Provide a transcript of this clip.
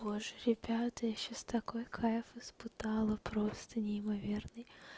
боже ребята я сейчас такой кайф испытала просто неимоверный